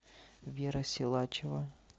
вера силачева